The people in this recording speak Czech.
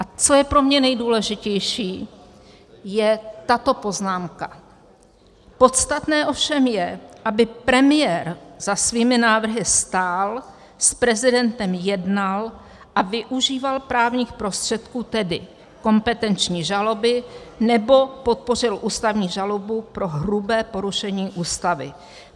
A co je pro mě nejdůležitější, je tato poznámka: "Podstatné ovšem je, aby premiér za svými návrhy stál, s prezidentem jednal a využíval právních prostředků, tedy kompetenční žaloby, nebo podpořil ústavní žalobu pro hrubé porušení Ústavy.